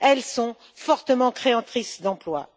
Elles sont fortement créatrices d'emplois.